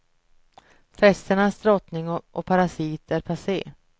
Festernas drottning och parasit är passé.